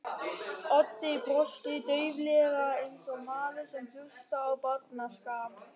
Otti brosti dauflega eins og maður sem hlustar á barnaskap.